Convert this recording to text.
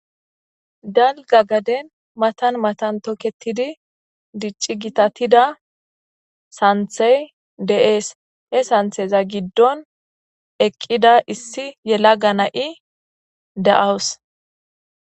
Dalgga gadden matan matan tookettidii diccida sanththey de'es he saththeza giddon eeqidda issi yelagga na'i de'awus.